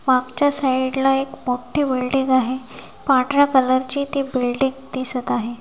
मागच्या साईड ला एक मोठी बिल्डिंग आहे पांढऱ्या कलर ची ती बिल्डिंग दिसत आहे.